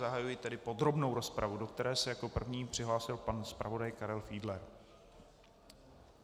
Zahajuji tedy podrobnou rozpravu, do které se jako první přihlásil pan zpravodaj Karel Fiedler.